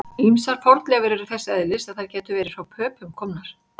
Ýmsar fornleifar eru þess eðlis að þær gætu verið frá Pöpum komnar.